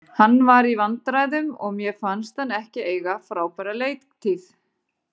Hann var í vandræðum og mér fannst hann ekki eiga frábæra leiktíð.